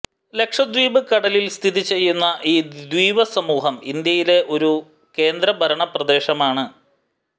ലക്ഷദ്വീപ് കടലിൽ സ്ഥിതി ചെയ്യുന്ന ഈ ദ്വീപസമൂഹം ഇന്ത്യയിലെ ഒരു കേന്ദ്രഭരണപ്രദേശമാണ്